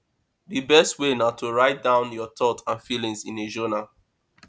di best way na to write down your thoughts and feelings in a journal